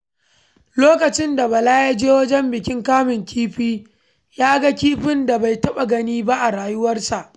Lokacin da Bala ya je wajen bikin kamun kifi, ya ga kifin da bai taɓa gani ba a rayuwarsa.